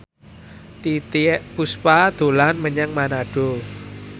Titiek Puspa dolan menyang Manado